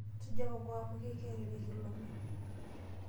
Suja kokoo amu keikerere kilome.